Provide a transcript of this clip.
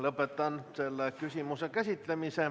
Lõpetan selle küsimuse käsitlemise.